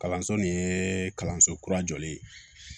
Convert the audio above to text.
Kalanso nin ye kalanso kura jɔlen ye